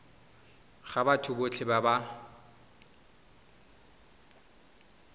go batho botlhe ba ba